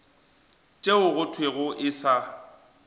tšeo go thwego e sa